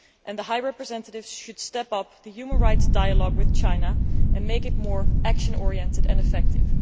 The High Representative should step up the human rights dialogue with China and make it more action oriented and effective.